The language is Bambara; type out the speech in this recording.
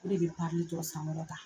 O de bɛ parli tɔ san kɔrɔ ta!